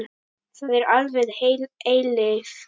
Það er alveg heil eilífð.